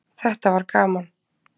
Þetta var gaman.